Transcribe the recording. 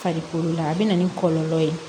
Farikolo la a bɛ na ni kɔlɔlɔ ye